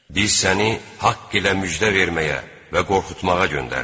Biz səni haqq ilə müjdə verməyə və qorxutmağa göndərdik.